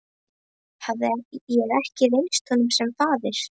Hafði ég ekki reynst honum sem faðir?